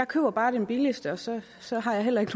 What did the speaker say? køber bare den billigste og så så har jeg heller ikke